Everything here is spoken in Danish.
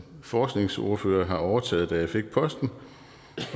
forskningsordfører har overtaget da jeg fik posten